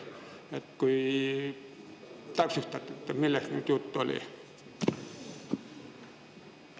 Äkki täpsustad, millest just juttu oli?